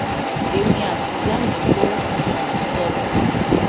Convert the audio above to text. èmi àti ìyá mi ló um sọ fún